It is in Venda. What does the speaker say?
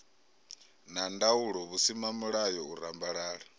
na ndaulo vhusimamilayo u rambalala